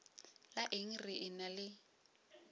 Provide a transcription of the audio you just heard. la eng re ena le